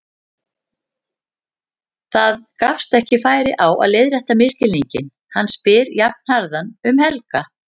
Það gefst ekki færi á að leiðrétta misskilninginn, hann spyr jafnharðan um Helga.